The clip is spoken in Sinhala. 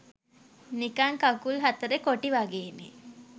නිකන් කකුල් හතරේ කොටි වගේනේ